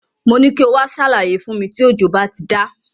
Mo ní kí o wá ṣàlàyé fún mi tí òjò bá ti dá.